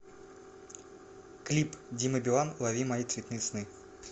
клип дима билан лови мои цветные сны